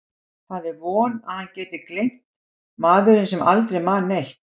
Það er von að hann geti gleymt, maðurinn sem aldrei man neitt.